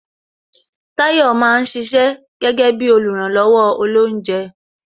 Tayọ máa ń ṣiṣẹ́ gẹ́gẹ́ bí oluranlowo olounje